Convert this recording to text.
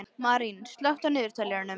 Marín, slökktu á niðurteljaranum.